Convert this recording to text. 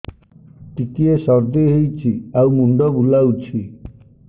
ଟିକିଏ ସର୍ଦ୍ଦି ହେଇଚି ଆଉ ମୁଣ୍ଡ ବୁଲାଉଛି